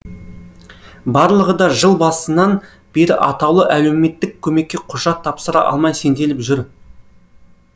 барлығы да жыл басынан бері атаулы әлеуметтік көмекке құжат тапсыра алмай сенделіп жүр